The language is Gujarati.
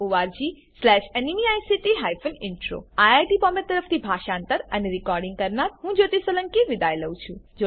httpspoken tutorialorgNMEICT Intro IIT Bombay તરફથી હું જ્યોતી સોલંકી વિદાય લઉં છું